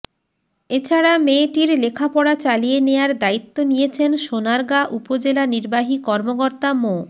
এছাড়া মেয়েটির লেখাপড়া চালিয়ে নেয়ার দায়িত্ব নিয়েছেন সোনারগাঁ উপজেলা নির্বাহী কর্মকর্তা মো